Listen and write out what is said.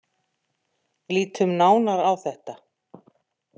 Lítum nánar á þetta.